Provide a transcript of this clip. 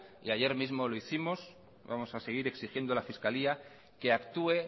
y ayer mismo lo hicimos vamos a seguir exigiendo a la fiscalía que actúe